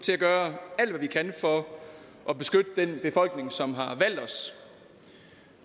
til at gøre alt hvad vi kan for at beskytte den befolkning som har valgt os